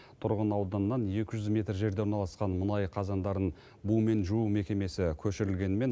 тұрғын ауданнан екі жүз метр жерде орналасқан мұнай қазандарын бумен жуу мекемесі көшірілгенімен